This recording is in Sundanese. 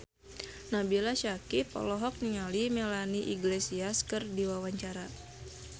Nabila Syakieb olohok ningali Melanie Iglesias keur diwawancara